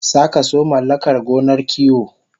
Sakaso mallakar gonar kiwo